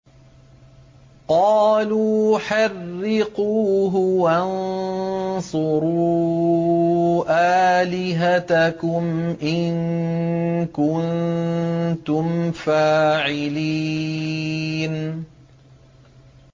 قَالُوا حَرِّقُوهُ وَانصُرُوا آلِهَتَكُمْ إِن كُنتُمْ فَاعِلِينَ